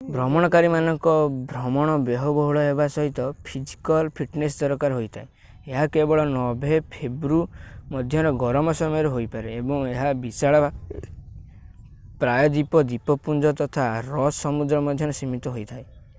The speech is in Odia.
ଭ୍ରମଣକାରୀମାନଙ୍କର ଭ୍ରମଣ ବ୍ୟୟବହୁଳ ହେବା ସହିତ ଫିଜିକଲ୍ ଫିଟନେସ୍ ଦରକାର ହୋଇଥାଏ ଏହା କେବଳ ନଭେ.-ଫେବୃ. ମଧ୍ୟର ଗରମ ସମୟରେ ହୋଇପାରେ ଏବଂ ଏହା ବିଶାଳ ଭାବରେ ପ୍ରାୟଦ୍ୱୀପ ଦ୍ୱୀପପୁଞ୍ଜ ତଥା ରସ୍ ସମୁଦ୍ର ମଧ୍ୟରେ ସୀମିତ ହୋଇଥାଏ।